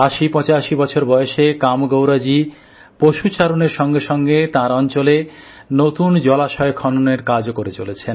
৮০৮৫ বছর বয়সে কামেগৌড়াজি পশুচারণের সঙ্গে সঙ্গে তার অঞ্চলে নতুন জলাশয় খননের কাজও করে চলেছেন